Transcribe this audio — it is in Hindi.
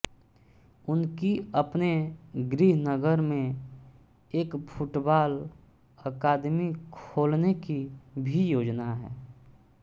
उनकी अपने गृहनगर में एक फुटबॉल अकादमी खोलने की भी योजना है